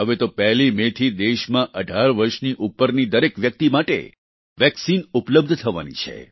હવે તો 1 મે થી દેશમાં 18 વર્ષની ઉપરની દરેક વ્યક્તિ માટે વેક્સિન ઉપલબ્ધ થવાની છે